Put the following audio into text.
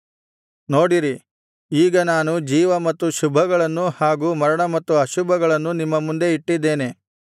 ನೋಡಿರಿ ಈಗ ನಾನು ಜೀವ ಮತ್ತು ಶುಭಗಳನ್ನೂ ಹಾಗೂ ಮರಣ ಮತ್ತು ಅಶುಭಗಳನ್ನೂ ನಿಮ್ಮ ಮುಂದೆ ಇಟ್ಟಿದ್ದೇನೆ